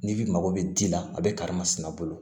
N'i bi mago bɛ ji la a bɛ karimasina bolo